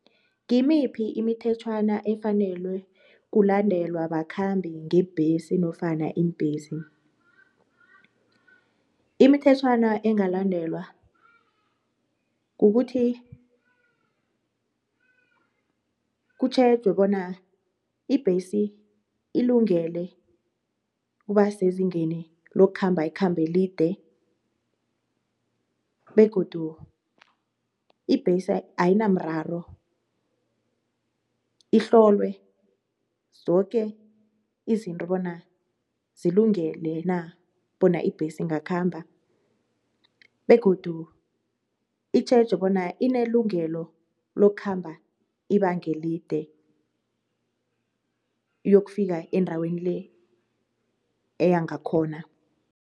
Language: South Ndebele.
Ngimiphi imithetjhwana efanelwe kulandelwa bakhambi ngebhesi nofana iimbhesi? Imithetjhwana engalandelwa kukuthi kutjhejwe bona ibhesi ilungele ukuba sezingeni lokukhamba ikhambelide begodu ibhesi ayinamraro ihlolwe zoke izinto bona zilungele na bona ibhesi ingakhamba begodu itjhejwe bona inelungelo lokukhamba ibangelide iyokufika endaweni le eya ngakhona.